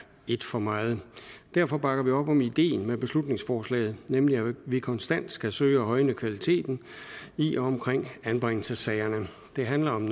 et for meget derfor bakker vi op om ideen med beslutningsforslaget nemlig at vi konstant skal søge at højne kvaliteten i og omkring anbringelsessagerne det handler om